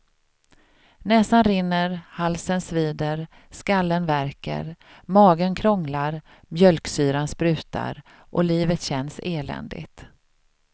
Näsan rinner, halsen svider, skallen värker, magen krånglar, mjölksyran sprutar, och livet känns eländigt.